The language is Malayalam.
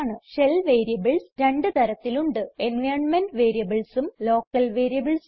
ഷെൽ വേരിയബിൾസ് രണ്ട് തരത്തിലുണ്ട് എൻവൈറൻമെന്റ് Variablesഉം ലോക്കൽ Variablesഉം